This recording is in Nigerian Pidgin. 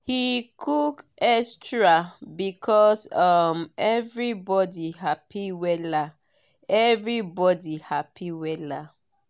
he cook extra because um everybody happy wella. everybody happy wella.